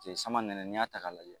samanɛnɛ n'i y'a ta k'a lajɛ